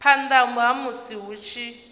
phana ha musi hu tshi